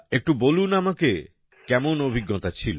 একটু বলুন আমাকে কেমন অভিজ্ঞতা ছিল